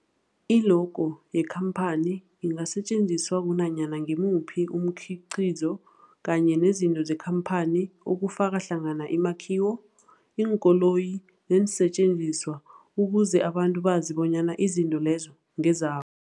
I-logo yekhamphani ingasetjenziswa kunanyana ngimuphi umkhiqizo kanye nezinto zekhamphani okufaka hlangana imakhiwo, iinkoloyi neensentjenziswa ukuze abantu bazi bonyana izinto lezo ngeza